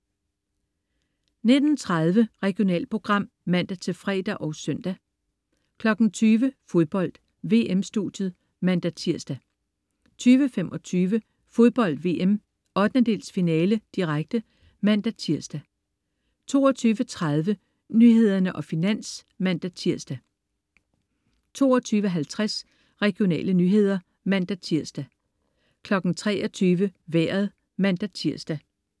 19.30 Regionalprogram (man-fre og søn) 20.00 Fodbold: VM-studiet (man-tirs) 20.25 Fodbold VM: 1/8-finale, direkte (man-tirs) 22.30 Nyhederne og Finans (man-tirs) 22.50 Regionale nyheder (man-tirs) 23.00 Vejret (man-tirs)